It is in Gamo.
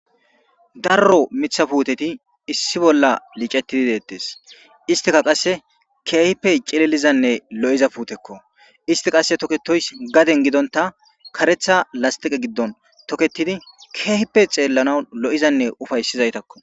darro mitha puuteti issi bolla liicettidi deettes istika qasse keehippe cililizanne lo7iza puutekko isti qasse toketoys gaden gidonta karetha lastiqe giddon toketidi keehippe xeellana lo7izanne ufayssizaytakko